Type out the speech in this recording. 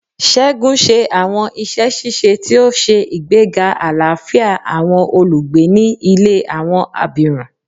Segun ṣe awọn iṣẹ ṣiṣe ti o ṣe igbega alafia awọn olugbe ni ile awọn abirun